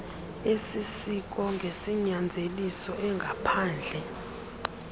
esisiso ngesinyanzeliso engaphandle